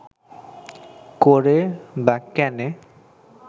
করে বা কেনে